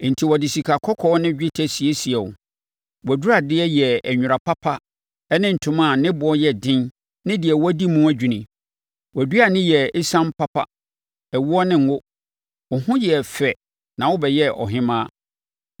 Enti wɔde sikakɔkɔɔ ne dwetɛ siesiee wo. Wʼaduradeɛ yɛɛ nwera papa ne ntoma a ne boɔ yɛ den ne deɛ wɔadi mu adwini. Wʼaduane yɛɛ esiam papa, ɛwoɔ ne ngo. Wo ho yɛɛ fɛ na wobɛyɛɛ ɔhemmaa.